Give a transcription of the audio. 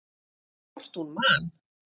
Hvort hún man!